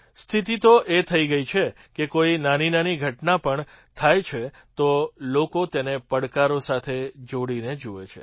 સ્થિતિ તો એ થઈ ગઈ છે કે કોઈ નાનીનાની ઘટના પણ થાય છે તો લોકો તેને પડકારો સાથે જોડીને જુએ છે